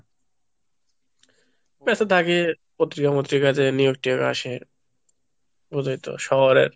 messএ থাকে, পত্রিকা মত্রিকায় যে নিয়োগ টিয়োগ আসে, বুঝই তো শহরের,